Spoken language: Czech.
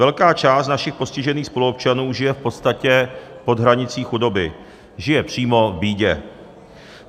Velká část našich postižených spoluobčanů žije v podstatě pod hranicí chudoby, žije přímo v bídě.